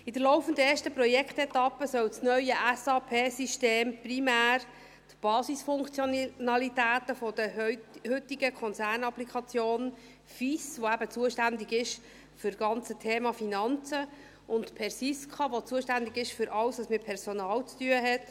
In der laufenden, ersten Projektetappe, soll das neue SAP-System primär eben die Basisfunktionalitäten der heutigen Konzernapplikation FIS abdecken, die eben zuständig ist für das ganze Thema Finanzen, sowie von PERSISKA, welche für alles zuständig ist, was mit Personal zu tun hat.